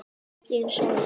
Þín, Sóley.